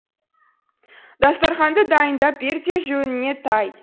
дастарханды дайындап бер де жөніңе тай